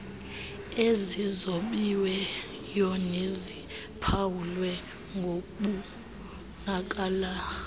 ezizobiweyo neziphawulwe ngokubonakala